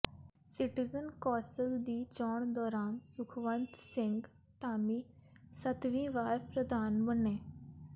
citizen council ਦੀ ਚੋਣ ਦੌਰਾਨ ਸੁਖਵੰਤ ਸਿੰਘ ਧਾਮੀ ਸੱਤਵੀਂ ਵਾਰ ਪ੍ਰਧਾਨ ਬਣੇ